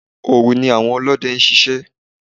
Òru ni àwọn Olóde ń ṣiṣẹ́.